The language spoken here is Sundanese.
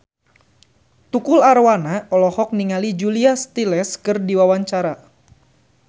Tukul Arwana olohok ningali Julia Stiles keur diwawancara